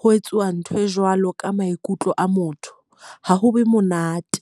ho etsuwa ntho e jwalo ka maikutlo a motho ha ho be monate.